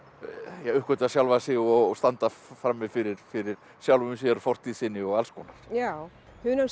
uppgötva sjálfar sig og standa frammi fyrir fyrir sjálfum sér fortíð sinni og alls konar já